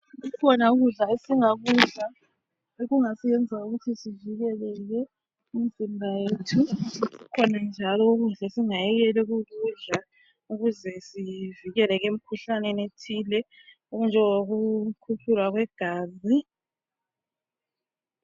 Kukhona ukudla esingakudla okungasenza ukuthi sivikeleke imizimba yethu kukhona njalo ukudla esingayekela ukukudla ukuze sivikeleke emkhuhlaneni ethile okunjengo kukhutshulwa kwegazi.